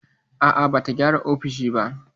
A'a, bata gyara ofishin ba.